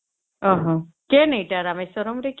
ଓ ହୋ କେନ ଏଟା ରାମେଶ୍ୱରମ ରେ କି